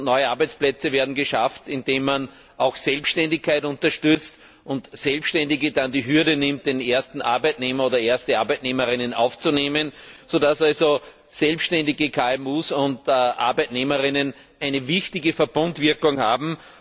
Neue Arbeitsplätze werden geschaffen, indem man die Selbständigkeit unterstützt und Selbständige dann die Hürde nehmen, den ersten Arbeitnehmer oder die erste Arbeitnehmerin aufzunehmen, sodass also Selbständige, KMU und Arbeitnehmer und Arbeitnehmerinnen eine wichtige Verbundwirkung haben.